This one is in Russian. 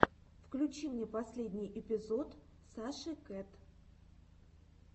включи мне последний эпизод саши кэт